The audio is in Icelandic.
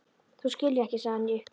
Þú skilur ekki sagði hann í uppgjöf.